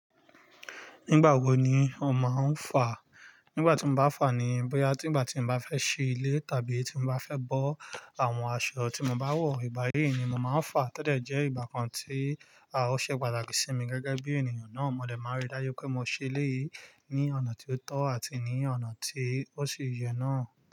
Nígbà wo ni o máa ń fà? Nígbà tí mo bá fà ni bóyá tí ìgbà tí mo bá fẹ́ ṣe ilé tàbí tí mo bá fẹ́ bọ́ àwọn aṣọ tí mo bá wọ̀, ìgbà yí ni mo máa ń fà. To dẹ̀ jẹ́ ìgbà kan tí a ò ṣe pàtàkì sí mi gẹ́gẹ́ bí ènìyàn náà. Mo dẹ̀ máa rí i dá jù pé mo ṣe èléyìí ní ọ̀nà tí ó tọ́ àti ní ọ̀nà tí ó ṣi yẹ náà.